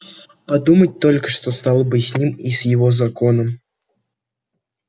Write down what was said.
подумать только что стало бы с ним и с его законом